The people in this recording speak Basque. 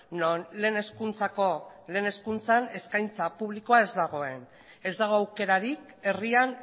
non lehen hezkuntzako lehen hezkuntza eskaintza publikoa ez dagoen ez dago aukerarik herrian